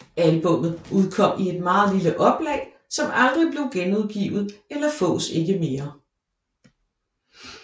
Albummet udkom i et meget lille oplag som aldrig blev genudgivet eller fås ikke mere